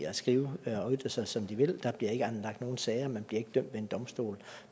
at skrive og ytre sig som man vil der bliver ikke anlagt nogen sager man bliver ikke dømt ved en domstol